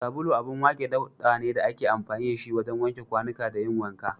Sabulu abun wake ɗauka ne da ake amfani da shi wajen wanke kwanuka da yin wanka.